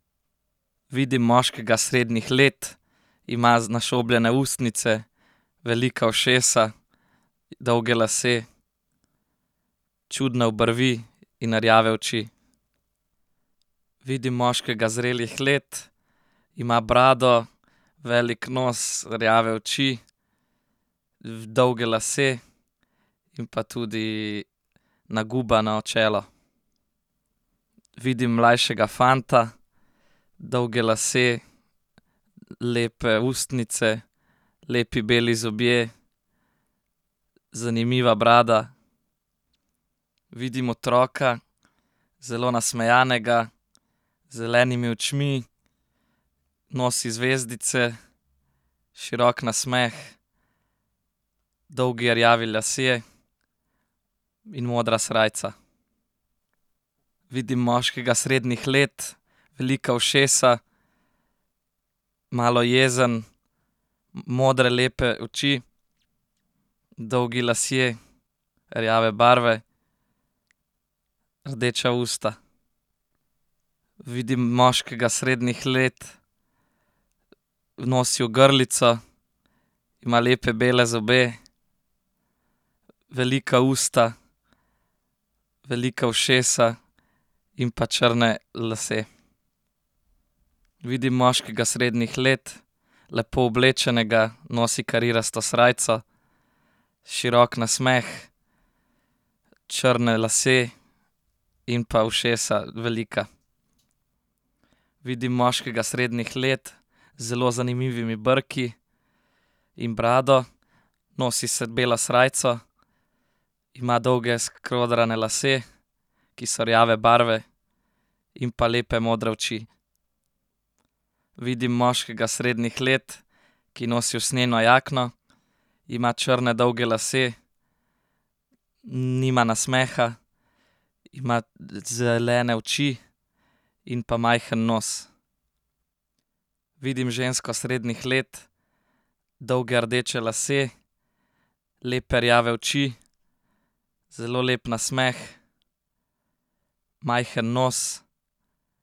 Vidim moškega srednjih let. Ima našobljene ustnice, velika ušesa, dolge lase, čudne obrvi in rjave oči. Vidim moškega zrelih let, ima brado, velik nos, rjave oči, dolge lase in pa tudi nagubano čelo. Vidim mlajšega fanta, dolge lase, lepe ustnice, lepi beli zobje, zanimiva brada. Vidim otroka, zelo nasmejanega, z zelenimi očmi, nosi zvezdice, širok nasmeh, dolgi rjavi lasje, in modra srajca. Vidim moškega srednjih let, velika ušesa, malo jezen, modre lepe oči, dolgi lasje, rjave barve, rdeča usta. Vidim moškega srednjih let. Nosi ogrlico, ima lepe bele zobe, velika usta, velika ušesa, in pa črne lase. Vidim moškega srednjih let, lepo oblečenega, nosi karirasto srajco. Širok nasmeh, črne lase, in pa ušesa, velika. Vidim moškega srednjih let. Z zelo zanimivimi brki in brado. Nosi belo srajco, ima dolge skodrane lase, ki so rjave barve, in pa lepe modre oči. Vidim moškega srednjih let, ki nosi usnjeno jakno, ima črne dolge lase, nima nasmeha, ima zelene oči in pa majhen nos. Vidim žensko srednjih let, dolge rdeče lase, lepe rjave oči, zelo lep nasmeh, majhen nos.